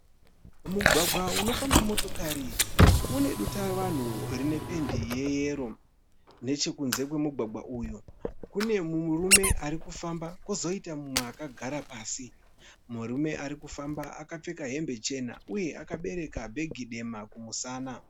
Mugwagwa unofamba motokari une dutavanhu rine pendi yeyero. Nechekunze kwemugwagwa uyu kune murume arikufamba kozoita umwe akagara pasi. Murume arikufamba akapfeka hembe chena uye akabereka bhegi dema kumusana.